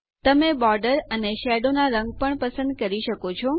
તમે બોર્ડર અને શેડોના રંગ પણ પસંદ કરી શકો છો